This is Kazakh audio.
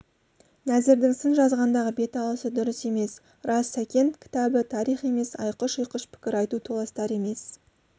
нәзірдің сын жазғандағы беталысы дұрыс емес рас сәкен кітабы тарих емес айқыш-ұйқыш пікір айту толастар емес